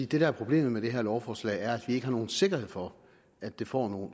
det der er problemet med det her lovforslag er at ikke har nogen sikkerhed for at det får